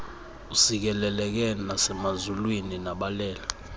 usikeleleke nasemazulwini nabalele